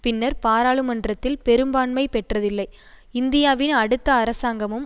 பின்னர் பாராளுமன்றத்தில் பெரும்பான்மை பெற்றதில்லை இந்தியாவின் அடுத்த அரசாங்கமும்